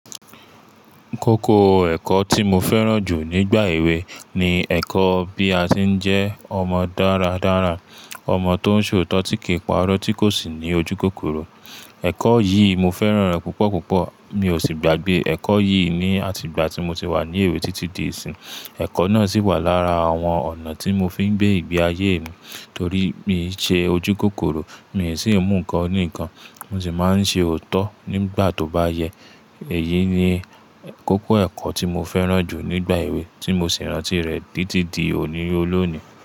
Kókó ẹ̀kọ́ tí mo fẹ́ràn jù nígbà èwe ni ẹ̀kọ́ bí a ṣe ń jẹ́ ọmọ dáradára, ọmọ tó ń ṣe òótọ́ tí kìí pa irọ́ tí kò sì ní ojúkòkòrò. Ẹ̀kọ́ yìí mo fẹ́ràn rẹ̀ púpọ̀púpọ̀, mi ò sì gbàgbé ẹ̀kọ́ yìí ní àtigba tí mo ti wà ní èwe títí di ìsìn. Ẹ̀kọ́ náà sì wà lára àwọn ọ̀nà tí mo fi ń gbé ìgbé ayé mi torí mi ṣe ojúkòkòrò, mi sì ń mú nǹkan oní ǹkan, mo sì máa ń ṣe òótọ́ nígbà tó bá yẹ. Èyí ni kókó ẹ̀kọ́ tí mo fẹ́ràn jù nígbà èwe tí mo sì rántí rẹ̀ títí di òní olónìí.